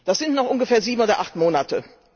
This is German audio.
Das sind noch ungefähr sieben oder acht Monate.